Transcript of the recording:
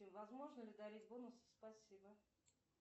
возможно ли дарить бонусы спасибо